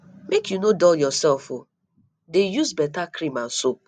make you no dull yourself o dey use beta cream and soap